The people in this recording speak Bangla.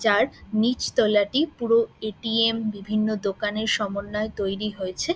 যার নিচ তলাটি পুরো এ. টি. এম. বিভিন্ন দোকানের সমন্বয়ে তৈরি হয়েছে।